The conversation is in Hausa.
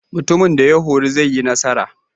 Mutumin da horo zai yi nasara.